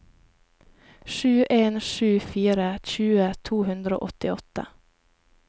sju en sju fire tjue to hundre og åttiåtte